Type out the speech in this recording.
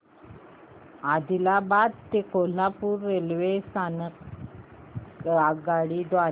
आदिलाबाद ते कोल्हापूर रेल्वे स्थानक आगगाडी द्वारे